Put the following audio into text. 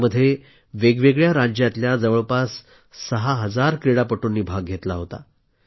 यामध्ये वेगवेगळ्या राज्यातल्या जवळपास सहा हजार क्रीडापटूंनी भाग घेतला होता